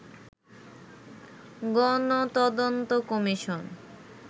গণ তদন্ত কমিশন